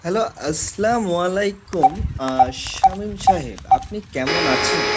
Hello, আসসালামু আলাইকুম, সামিম সাহেব. আপনি কেমন আছেন?